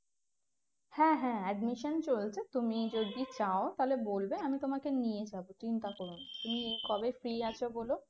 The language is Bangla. হ্যাঁ হ্যাঁ admission চলছে তুমি যদি চাও তাহলে বলবে আমি তোমাকে নিয়ে যাবো চিন্তা করো না তুমি কবে free আছো বলো